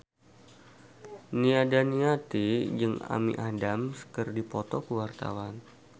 Nia Daniati jeung Amy Adams keur dipoto ku wartawan